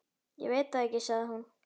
Ég veit það ekki sagði hún.